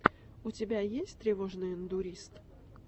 у тебя есть тревожный эндурист